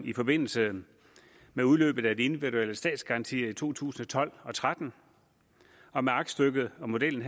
i forbindelse med udløbet af de individuelle statsgarantier i to tusind og tolv og tretten og med aktstykket og modellen